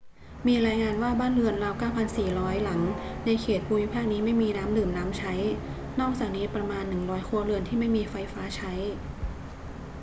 มีรายงานว่าบ้านเรือนราว 9,400 หลังในเขตภูมิภาคนี้ไม่มีน้ำดื่มน้ำใช้ นอกจากนี้มีประมาณ 100 ครัวเรือนที่ไม่มีไฟฟ้าใช้